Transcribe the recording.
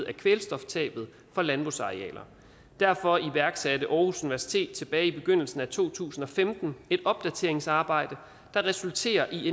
af kvælstoftabet fra landbrugsarealer derfor iværksatte aarhus universitet tilbage i begyndelsen af to tusind og femten et opdateringsarbejde der resulterer i